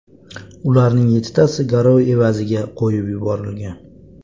Ularning yettitasi garov evaziga qo‘yib yuborilgan.